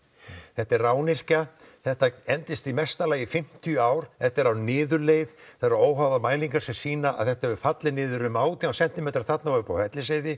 þetta er rányrkja þetta endist í mesta lagi í fimmtíu ár þetta er á niðurleið það eru óháðar mælingar sem sýna að þetta hefur fallið um átján sentímetra þarna og uppi á Hellisheiði